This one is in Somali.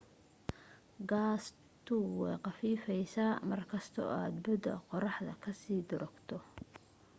gaastu way khafiifaysa markasta oo aad bu'da qorraxda ka sii durugto